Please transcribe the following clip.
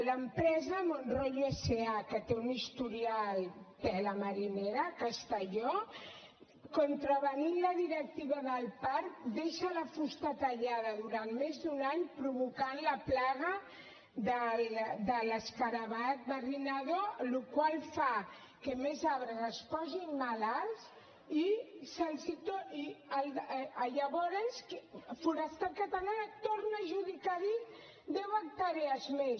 l’empresa monroyo sa que té un historial tela marinera a castelló contravenint la directiva del parc deixa la fusta tallada durant més d’un any i provoca la plaga de l’escarabat barrinador la qual cosa fa que més arbres es posin malalts i llavors forestal catalana torna a adjudicar a dit deu hectàrees més